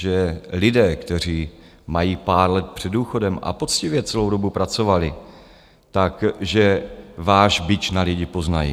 Že lidé, kteří mají pár let před důchodem a poctivě celou dobu pracovali, tak že váš bič na lidi poznají?